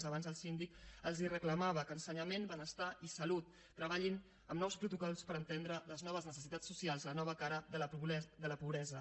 abans el síndic els reclamava que ensenyament benestar i salut treballin amb nous protocols per atendre les noves necessitats socials la nova cara de la pobresa